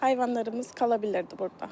Heyvanlarımız qala bilirdi burda.